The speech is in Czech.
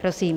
Prosím.